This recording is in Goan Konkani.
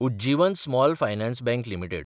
Ujjivan small finance bank limited